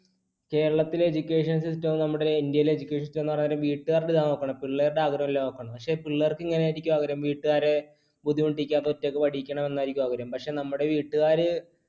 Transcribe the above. കേരളത്തിലെ education system ഉം നമ്മുടെ ഇന്ത്യയിലെ education system പറയാൻ നേരം വീട്ടുകാരുടെ ഇതാണ് നോക്കണത്, പിള്ളേരുടെ ആഗ്രഹം അല്ല നോക്കണത്. പക്ഷേ പിള്ളേർക്ക് ഇങ്ങനെ ആയിരിക്കും അവരുടെ വീട്ടുകാരെ ബുദ്ധിമുട്ടിക്കാതെ ഒറ്റക്ക് പഠിക്കണം എന്നായിരിക്കും ആഗ്രഹം, പക്ഷേ നമ്മുടെ വീട്ടുകാര്